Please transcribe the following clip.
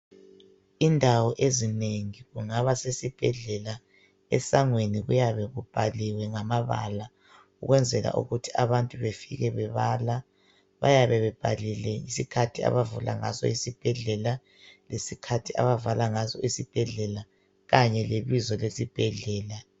Indawo ezinengi kungaba sesibhedlela esangweni kuyabe kubhaliwe ngamabala ukwenzela ukuthi abantu bafike bebala , bayabe bebhalile isikhathi abavula ngaso isibhedlela lesikhathi abavala ngaso isibhedlela kanye lebizo lesibhedlela .